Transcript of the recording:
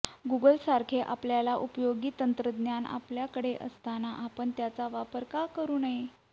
गुगलसारखे आपल्याला उपयोगी तंत्रज्ञान आपल्याकडे असताना आपण त्याचा वापर का करू नये